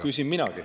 Küsin minagi.